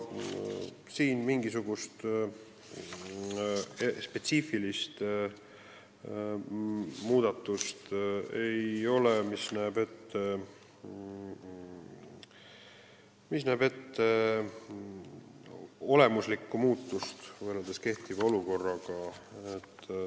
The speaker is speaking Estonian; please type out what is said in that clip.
Siin ei ole mingisugust spetsiifilist muudatust, mis näeks ette olemuslikku muutust võrreldes kehtiva olukorraga.